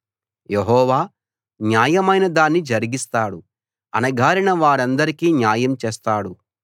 యెహోవా న్యాయమైన దాన్ని జరిగిస్తాడు అణగారిన వారందరికీ న్యాయం చేస్తాడు